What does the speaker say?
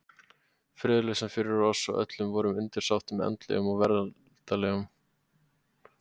Friðlausan fyrir oss og öllum vorum undirsátum andlegum og veraldlegum.